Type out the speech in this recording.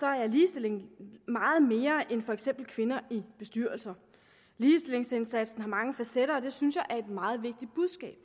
er ligestilling meget mere end for eksempel kvinder i bestyrelser ligestillingsindsatsen har mange facetter og det synes jeg er et meget vigtigt budskab